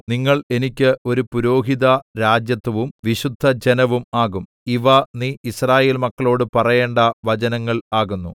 നിങ്ങൾ എനിക്ക് ഒരു പുരോഹിതരാജത്വവും വിശുദ്ധജനവും ആകും ഇവ നീ യിസ്രായേൽ മക്കളോട് പറയേണ്ട വചനങ്ങൾ ആകുന്നു